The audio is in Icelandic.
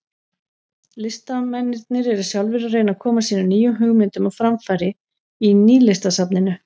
Listamennirnir eru sjálfir að reyna að koma sínum nýju hugmyndum á framfæri í Nýlistasafninu.